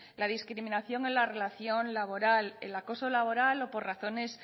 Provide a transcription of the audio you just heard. la discriminación en la relación laboral el acoso laboral o por razones